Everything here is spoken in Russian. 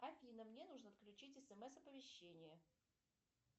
афина мне нужно включить смс оповещение